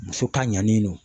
Muso ta ɲanni do.